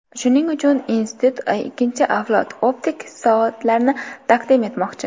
Shuning uchun institut ikkinchi avlod optik soatlarini taqdim etmoqchi.